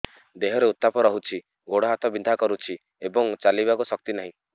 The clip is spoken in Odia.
ଦେହରେ ଉତାପ ରହୁଛି ଗୋଡ଼ ହାତ ବିନ୍ଧା କରୁଛି ଏବଂ ଚାଲିବାକୁ ଶକ୍ତି ନାହିଁ